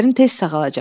Əllərim tez sağalacaq.